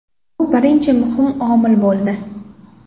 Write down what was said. Bu birinchi muhim omil bo‘ldi.